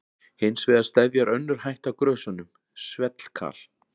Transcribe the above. Hins vegar steðjar önnur hætta að grösunum, svellkal.